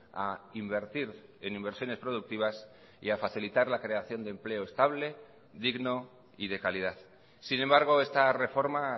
a invertir en inversiones productivas y a facilitar la creación de empleo estable digno y de calidad sin embargo esta reforma